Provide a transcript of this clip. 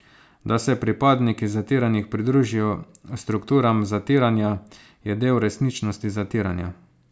Da se pripadniki zatiranih pridružijo strukturam zatiranja, je del resničnosti zatiranja.